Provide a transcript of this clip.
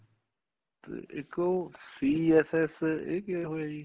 ਤੇ ਇੱਕ ਉਹ CSS ਇਹ ਕੀ ਹੋਇਆ ਜੀ